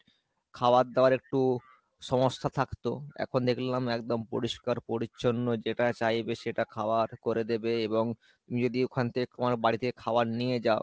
খাবার-দাবার একটু সমস্যা থাকতো এখন দেখলাম একদম পরিষ্কার পরিচ্ছন্ন যেটা চাইবে সেটা খাবার করে দেবে এবং তুমি যদি ওখান থেকে তোমার বাড়ি থেকে খাবার নিয়ে যাও,